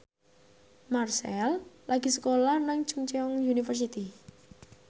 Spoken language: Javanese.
Marchell lagi sekolah nang Chungceong University